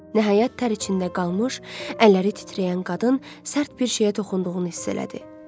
Nəhayət, tər içində qalmış, əlləri titrəyən qadın sərt bir şeyə toxunduğunu hiss elədi.